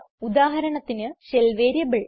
ഉദാഹരണത്തിന് shell variable